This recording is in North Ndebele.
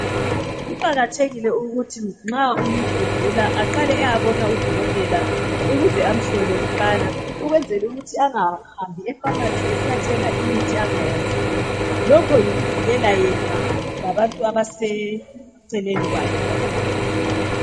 Kuqakathekile ukuthi nxa umuntu egula aqale ayebona udokotela ukuze amhlole kuqala. Ukwenzela ukuthi angahambi epharmacy esiyathenga imithi angayaziyo. Lokho yikuvikela yena labantu abaseceleni kwakhe